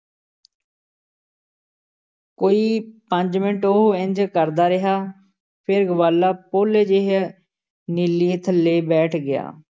ਕੋਈ ਪੰਜ ਮਿੰਟ ਉਹ ਇੰਞ ਕਰਦਾ ਰਿਹਾ ਫੇਰ ਗਵਾਲਾ ਪੋਲੇ ਜਿਹੇ ਨੀਲੀ ਥੱਲੇ ਬੈਠ ਗਿਆ।